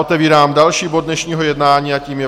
Otevírám další bod dnešního jednání a tím je